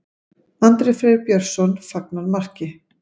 Andri Freyr Björnsson fagnar marki.